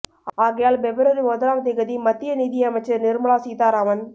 ஆகையால் பெப்ரவரி முதலாம் திகதி மத்திய நிதி அமைச்சர் நிர்மலா சீதாராமன்